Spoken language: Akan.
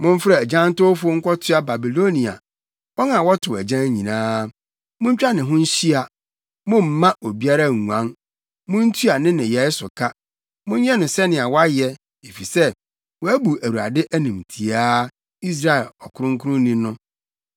“Momfrɛ agyantowfo nkɔtoa Babilonia, wɔn a wɔtow agyan nyinaa. Muntwa ne ho nhyia; mommma obiara nguan. Muntua ne nneyɛe so ka; monyɛ no sɛnea wayɛ. Efisɛ wabu Awurade animtiaa, Israel kronkronni no.